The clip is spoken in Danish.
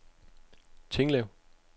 Tinglev